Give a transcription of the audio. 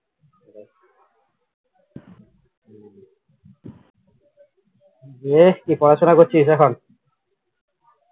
দিয়ে কী পড়াশুনা করছিস এখন?